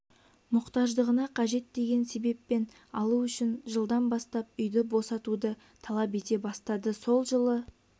мұқтаждығына қажет деген себеппен алу үшін жылдан бастап үйді босатуды талап ете бастады сол жылы